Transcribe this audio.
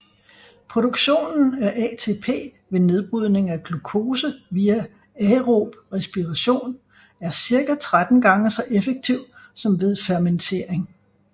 Produktionen af ATP ved nedbrydning af glukose via aerob respiration er cirka 13 gange så effektiv som ved fermentering